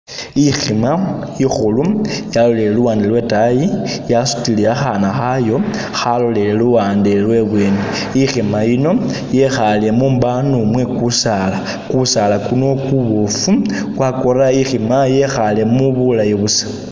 Ikhima ikhulu yalolele luwande lwetaayi yasutile akhana khayo yalolele luwande lwebweni, ikhima iyino yekhaale mumbano mwe kusaala, kusaala kuno kuboofu kwakora ikhima yekhaalemo bulayi busa.